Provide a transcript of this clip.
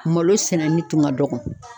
Malo sɛnɛni tun ka dɔgɔ